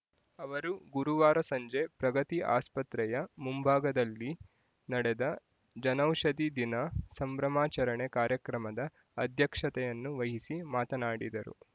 ಅವರು ಗುರುವಾರ ಸಂಜೆ ಪ್ರಗತಿ ಆಸ್ಪತ್ರೆಯ ಮುಂಭಾಗದಲ್ಲಿ ನಡೆದ ಜನೌಷಧಿ ದಿನ ಸಂಭ್ರಮಾಚರಣೆ ಕಾರ್ಯಕ್ರಮದ ಅಧ್ಯಕ್ಷತೆಯನ್ನು ವಹಿಸಿ ಮಾತನಾಡಿದರು